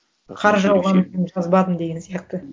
жазбадым деген сияқты